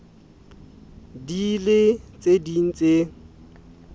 ding le tse ding tse